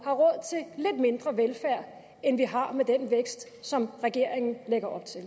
har mindre velfærd end vi har med den vækst som regeringen lægger op til